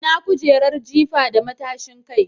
Ina kujerar jifa da matashin kai?